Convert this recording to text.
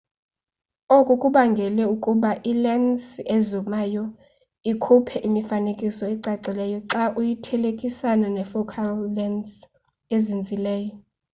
oku kubangele ukuba ilensi ezumayo ikhuphe imifanekiso ecacileyo xa uyithelekanisa ne focal lensi ezinzileyo